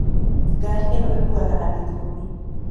Ngarĩ ĩno ĩkũaga andũ ĩkũmĩ.